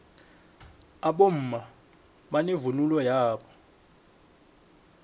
abomma banevunulo yabo